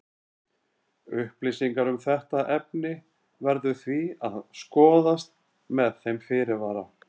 Upplýsingar um þetta efni verður því að skoðast með þeim fyrirvara.